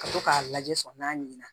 Ka to k'a lajɛ sɔn n'a ɲina